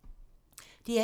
DR1